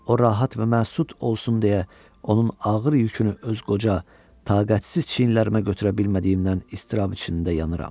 O rahat və məsud olsun deyə onun ağır yükünü öz qoca, taqətsiz çiyinlərimə götürə bilmədiyimdən iztirab içində yanıram.